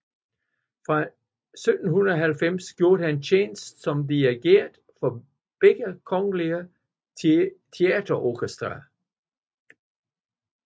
Fra 1790 gjorde han tjeneste som dirigent for begge kongelige teaterorkestre